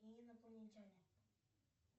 инопланетяне